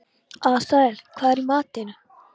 Asael, hvað er í matinn?